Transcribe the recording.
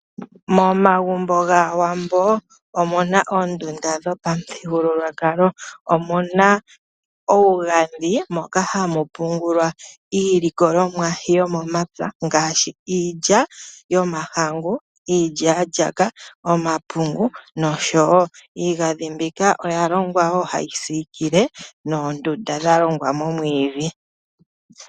Momagumbo gAawambo omu na oondunda dhopamuthigululwakalo. Omu na uugandhi, moka hamu pungulwa iilikolomwa yomomapya ngaashi iilya yomahangu, iilyaalyaaka, omapungu, nosho wo iigandhi mbika oya longwa wo hayi siikile noondunda dha longwa momwiidhi.